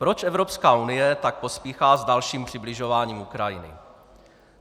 Proč Evropská unie tak pospíchá s dalším přibližováním Ukrajiny?